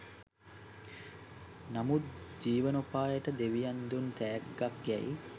නමුත් ජීවනෝපායට දෙවියන් දුන් තෑග්ගක් යැයි